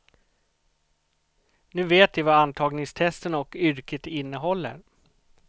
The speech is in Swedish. Nu vet de vad antagningstesterna och yrket innehåller.